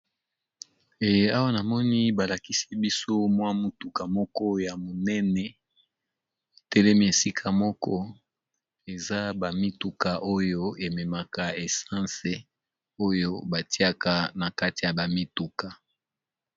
Eye awa namoni balakisi biso mwa mutuka moko ya monene telemi esika moko eza ba mituka oyo ememaka essense oyo batiaka na kati ya ba mituka.